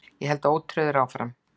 Ég held ótrauður áfram.